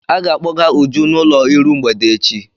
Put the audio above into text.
A ga-akpọga Uju n'ụlọ iru mgbede echi.